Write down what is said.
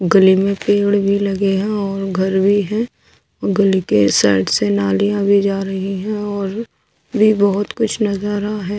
गली में पेड़ भीं लगे हैं और घर भीं हैं व गली के साइड से नालियाँ भीं जा रहीं हैं और भीं बहुत कुछ नजारा हैं।